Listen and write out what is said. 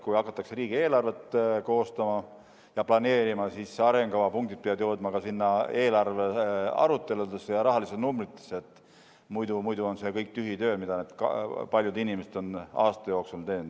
Kui hakatakse riigieelarvet koostama ja planeerima, siis arengukava punktid peavad jõudma ka sinna eelarvearuteludesse ja rahalistesse numbritesse, muidu on see kõik tühi töö, mida need paljud inimesed on aastate jooksul teinud.